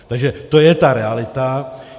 Takže to je ta realita.